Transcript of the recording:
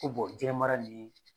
Ko bɔn diɲɛ mara nin ye